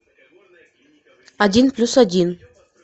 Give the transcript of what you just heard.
один плюс один